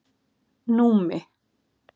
Númi